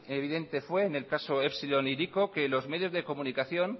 evidente fue en el caso epsilon hiriko que los medios de comunicación